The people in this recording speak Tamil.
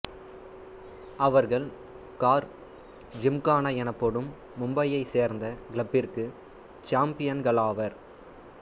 அவர்கள் கார் ஜிம்கானா எனப்படும் மும்பையைச் சேர்ந்த கிளப்பிற்கு சாம்பியன்களாவர்